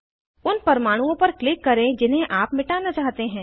उन परमाणुओं पर क्लिक करें जिन्हें आप मिटाना चाहते हैं